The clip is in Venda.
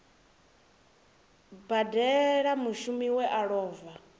badela mushumi we a lova